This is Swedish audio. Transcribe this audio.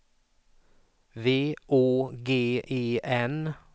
V Å G E N